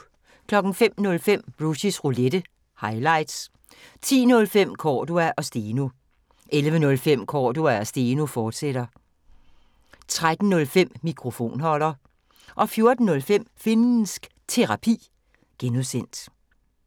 05:05: Rushys Roulette – highlights 10:05: Cordua & Steno 11:05: Cordua & Steno, fortsat 13:05: Mikrofonholder 14:05: Finnsk Terapi (G)